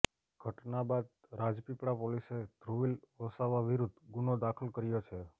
ઘટના બાદ રાજપીપળા પોલીસે ધ્રુવીલ વસાવા વિરુદ્ધ ગુનો દાખલ કર્યો છે